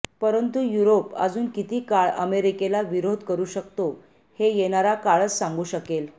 परंतु युरोप अजून किती काळ अमेरिकेला विरोध करू शकतो हे येणारा काळच सांगू शकेल